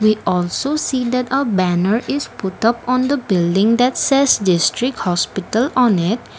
We also see that a banner is put up on the building thats says district hospital on it.